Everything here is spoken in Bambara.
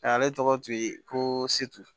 Ale tɔgɔ tun ye ko setu